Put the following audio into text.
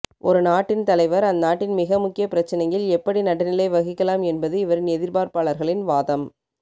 ஒரு நாட்டின் தலைவர் அந்நாட்டின் மிக முக்கிய பிரச்சனையில் எப்படி நடுநிலை வகிக்கலாம் என்பது இவரின் எதிர்ப்பாளர்களின் வாதம்